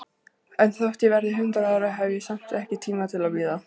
En þótt ég verði hundrað ára, hef ég samt ekki tíma til að bíða.